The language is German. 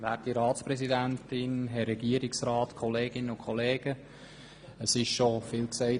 Über diese Motion wurde bereits viel gesagt.